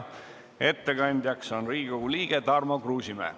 Ettekandja on Riigikogu liige Tarmo Kruusimäe.